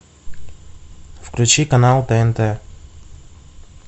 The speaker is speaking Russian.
включи канал тнт